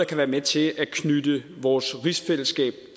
kan være med til at knytte i vores rigsfællesskab